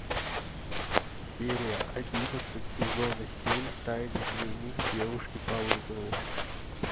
серия одиннадцать сезона семь тайный дневник девушки по вызову